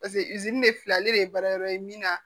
Paseke fila ale de ye baara yɔrɔ ye min na